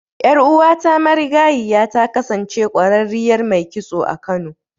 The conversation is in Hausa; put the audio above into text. Ƴar'uwata marigayiya ta kasance ƙwararriyar mai kitso a Kano.